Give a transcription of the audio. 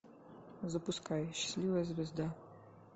запускай счастливая звезда